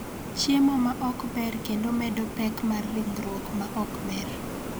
Chiemo ma ok ber kendo medo pek mar ringruok ma ok ber.